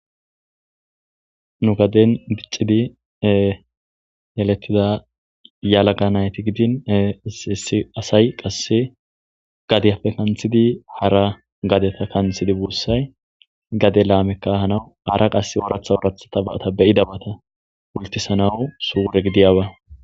nu gaden biccidi yeletida yalaga nayti gidin isiissi asay qasse gadiyapfe kanthidi hara gadeta kanthidi buussay gade laamekka hanawu hara qasse oratha worathata baata beyida bata wultisanawu suure gidiyaba